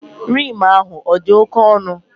Rim ahụ odi oke onụ?